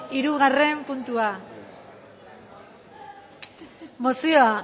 hirugarren puntua mozioa